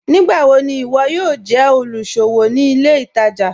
Nígbàwọ̀ ni iwọ yóò jẹ olúṣọ̀wọ̀ ní ilẹ̀ ìtaja?